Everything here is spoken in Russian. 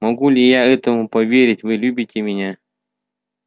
могу ли я этому поверить вы любите меня